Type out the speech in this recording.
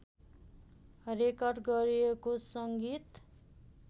record गरिएको संगीत